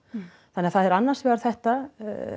þannig að það er annars vegar þetta